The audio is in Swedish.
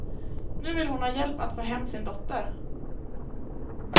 Nu vill hon ha hjälp att få hem sin dotter.